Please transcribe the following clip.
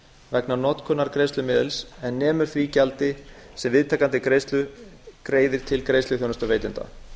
vegna notkunar greiðslumiðils en nemur því gjaldi sem viðtakandi greiðslu greiðir til greiðsluþjónustuveitanda